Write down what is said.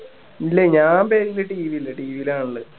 ഇല്ല ഞാൻ പെരേൽ TV ല് TV ലാ കാണല്